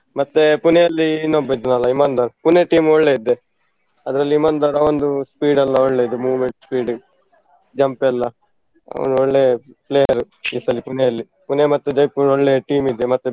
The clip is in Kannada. ಮತ್ತೆ Pune ಯಲ್ಲಿ ಇನ್ನೊಬ್ಬ ಇದ್ನಲ್ಲ ಇಮಾನ್ದಾರ್ Pune team ಒಳ್ಳೆ ಇದೆ. ಅದ್ರಲ್ಲಿ ಇಮಾನ್ದಾರ್ ಅವಂದು speed ಎಲ್ಲ ಒಳ್ಳೆದು moment speed jump ಎಲ್ಲ. ಅವನು ಒಳ್ಳೆ player ಈ ಸಲಿ Pune ಯಲ್ಲಿ. Pune ಮತ್ತು Jaipur ಒಳ್ಳೇ team ಇದೆ ಮತ್ತೆ.